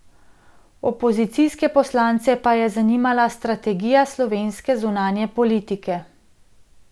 Opozicijske poslance pa je zanimala strategija slovenske zunanje politike.